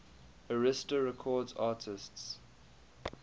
arista records artists